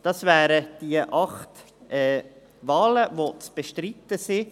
Das wären die acht Wahlen, die zu bestreiten sind.